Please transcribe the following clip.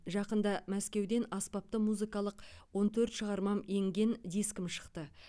жақында мәскеуден аспапты музыкалық он төрт шығармам енген дискім шықты